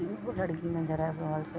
तीन गो लड़की नजर आव रहल छे।